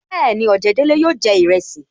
Bẹẹni, ojedele yóò jẹ iresi